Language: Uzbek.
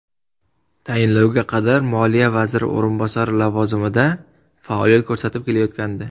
Tayinlovga qadar moliya vaziri o‘rinbosari lavozimida faoliyat ko‘rsatib kelayotgandi .